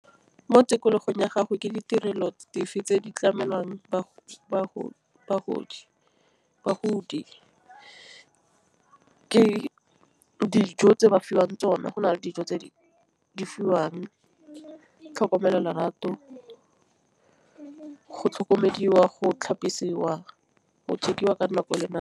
Mo tikologong ya gago ke ditirelo dife tse di tlamelwang bagodi. Ke dijo tse ba fiwang tsona. Go na le dijo tse di fiwang tlhokomelo lorato, go tlhokomediwa, go tlhapisiwa go ka nako le nako.